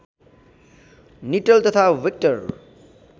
निट्टल तथा विक्टर